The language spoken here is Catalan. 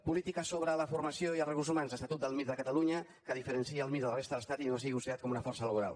polítiques sobre la formació i els recursos humans estatut del mir de catalunya que diferencia el mir de la resta de l’estat i no sigui considerat com una força laboral